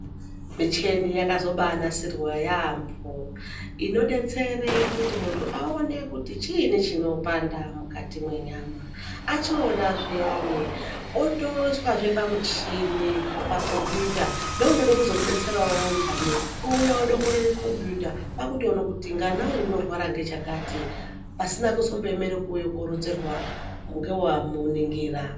Micheni yakazobanasirwa yaambo. Inodetsere kuti muntu aone kuti chiini chinopanda mukati mwenyama. Achiona zviyani, otoiswazve pamuchini pakombiyuta neunode kuzomubetsere wowondane ouya wodongorere kombiyuta kwakutoone kuti ngana uyu unorwara ngechakati pasina kuzomboemere kuuye koronzerwa ngewamuningira.